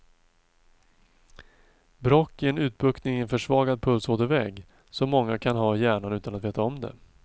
Bråck är en utbuktning i en försvagad pulsådervägg, som många kan ha i hjärnan utan att veta om det.